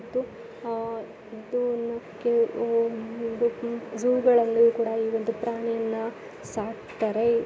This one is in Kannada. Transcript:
ಇದು ಆಹ್ ಇದು ಜೂಗಳಲ್ಲೂ ಕೂಡ ಈ ಒಂದು ಪ್ರಾಣಿಗಳನ್ನು ಸಾಕುತ್ತಾರೆ.